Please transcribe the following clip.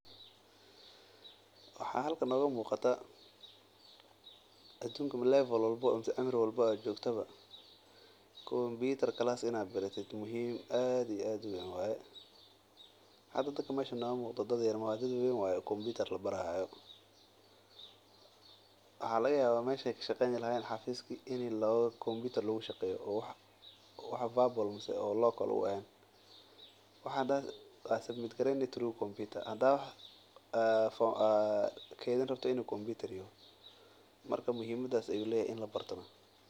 Waxaa halkan nooga muuqata adunnka cimri walbo aad joogta waa muhiim inaad kompitar barato dadkan meeshan joogo waa dad sait uweyn marka muhimada ayaa leyahay in la barto.